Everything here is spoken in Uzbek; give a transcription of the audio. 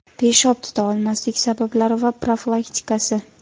Peshob tuta olmaslik: sabablari va profilaktikasi.